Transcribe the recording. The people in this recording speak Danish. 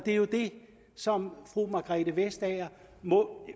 er jo det som fru margrethe vestager må